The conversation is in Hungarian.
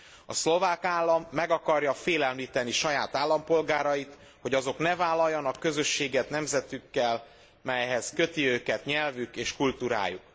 A szlovák állam meg akarja félemlíteni saját állampolgárait, hogy azok ne vállaljanak közösséget nemzetükkel, melyhez köti őket nyelvük és kultúrájuk.